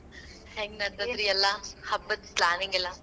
ಹೆಂಗ್ ನೆಡ್ ದೈತ್ರಿ ಎಲ್ಲಾ ಹಬ್ಬದ್ planning ಎಲ್ಲ